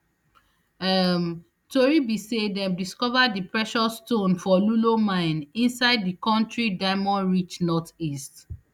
um tori be say dem discover di precious stone for lulo mine inside di kontri diamondrich northeast